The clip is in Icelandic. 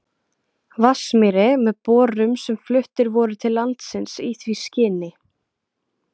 Vatnsmýri með borum sem fluttir voru til landsins í því skyni.